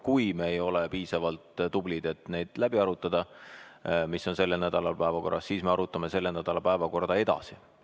Kui me ei ole piisavalt tublid, et läbi arutada neid punkte, mis on selle nädala päevakorras, siis me arutame selle nädala päevakorda edasi.